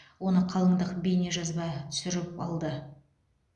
оны қалындық бейне жазба түсіріп алды